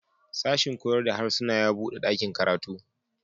Sashin koyar da harsuna ya buɗe ɗakin karatu.